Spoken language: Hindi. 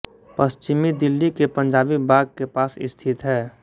पश्चिमी दिल्ली के पंजाबी बाग के पास स्थित है